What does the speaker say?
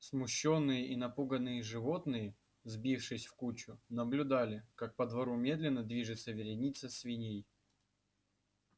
смущённые и напуганные животные сбившись в кучу наблюдали как по двору медленно движется вереница свиней